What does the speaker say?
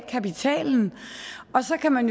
kapitalen og så kan man